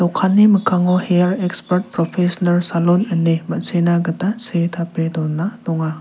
okani mikkango her eksbart propesinar salon ine ma·sina gita see tape dona donga.